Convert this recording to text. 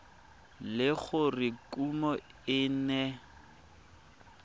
le gore kumo e ne